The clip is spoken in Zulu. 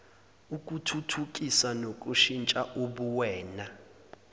ukuthuthukisa nokushintsha ubuwena